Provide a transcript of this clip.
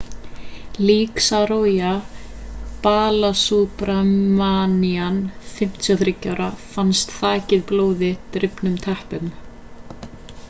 lík saroja balasubramanian 53 ára fannst þakið blóði drifnum teppum